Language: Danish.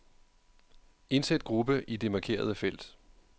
Indsæt gruppe i det markerede felt.